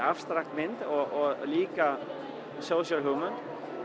abstrakt mynd og líka social hugmynd